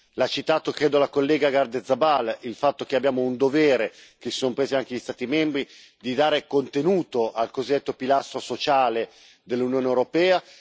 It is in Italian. L'ha citato, credo, la collega Gardiazabal il fatto che abbiamo un dovere, che si sono presi anche gli Stati membri, di dare contenuto al cosiddetto pilastro sociale dell'Unione europea.